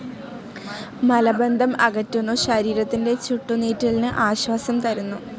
മലബന്ധം അകറ്റുന്നു. ശരീരത്തിന്റെ ചുട്ടുനീറ്റലിന് ആശ്വാസം തരുന്നു.